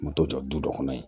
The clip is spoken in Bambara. N bɛ to jɔ dɔ kɔnɔ yen